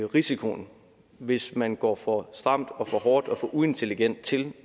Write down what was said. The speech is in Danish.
risikoen hvis man går for stramt og for hårdt og for uintelligent til